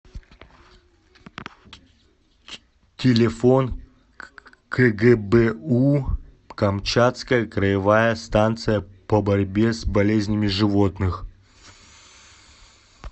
телефон кгбу камчатская краевая станция по борьбе с болезнями животных